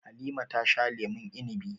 Halima ta sha lemun inibi.